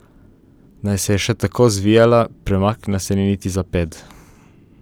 Naj se je še tako zvijala, premaknila se ni niti za ped.